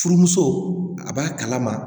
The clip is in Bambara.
Furumuso a b'a kalama